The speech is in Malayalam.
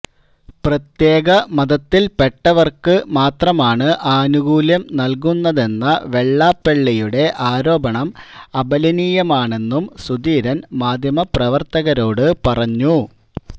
പ്രത്യേക മതത്തില്പ്പെട്ടവര്ക്ക് മാത്രമാണ് ആനുകൂല്യം നല്കുന്നതെന്ന വെള്ളാപ്പള്ളിയുടെ ആരോപണം അപലപനീയമാണെന്നും സുധീരന് മാധ്യമപ്രവര്ത്തകരോട് പറഞ്ഞു